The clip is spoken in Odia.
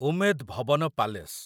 ଉମେଦ୍ ଭବନ ପାଲେସ୍